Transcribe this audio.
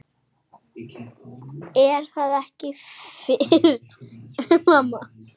Er það ekki Fis?